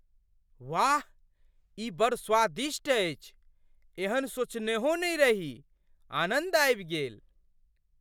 वाह! ई बड़ स्वादिष्ट अछि, एहन सोचनेहो नहि रही। आनन्द आबि गेल।